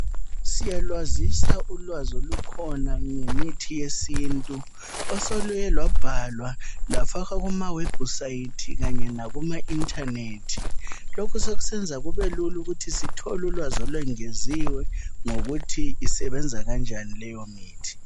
Siyalwazisa ulwazi olukhona ngemithi yesintu. Osoluye lwabhalwa lwafakwa kumawebusayithi kanye lakuma inthanethi, lokhu sokusenza kubelula ukuthi sithole ulwazi olwengeziyo ngokuthi isebenza njani leyomithi.